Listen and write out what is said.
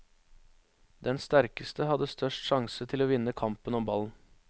Den sterkeste hadde størst sjanse til å vinne kampen om ballen.